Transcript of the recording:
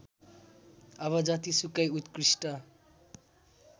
अब जतिसुकै उत्कृष्ट